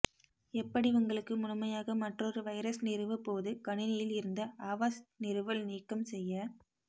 எப்படி உங்களுக்கு முழுமையாக மற்றொரு வைரஸ் நிறுவ போது கணினியில் இருந்து அவாஸ்ட் நிறுவல் நீக்கம் செய்ய